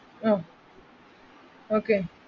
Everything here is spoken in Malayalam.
Okay